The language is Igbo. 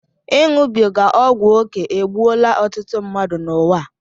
Iṅụbiga ọgwụ oké egbuola ọtụtụ mmadụ n'ụwa a